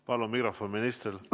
Palun mikrofon ministrile!